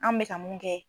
An bɛka mun kɛ